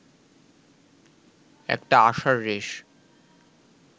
একটা আশার রেশ